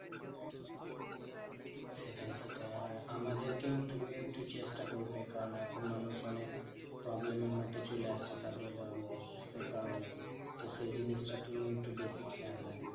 সেটাই সেটাই আর আমাদেরকেও তুমি একটু চেষ্টা করবে কারণ এখন মানুষ অনেক problem এর মধ্যে চলে আসছে তাদের আহ অসুস্থের কারণেই। তো সেই জিনিসটা তুমি একটু বেশি খেয়াল রাখবে।